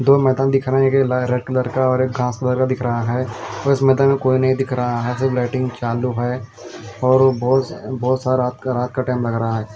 दो मैदान दिख रहे है एक ला रेड कलर का और एक घास कलर का दिख रहा है मुझे यहाँ मैदान में कोई नही दिख रहा है सिर्फ लाइटिंग चालू है और बहुत बहोत सारा रात का रात का टाइम लग रहा है।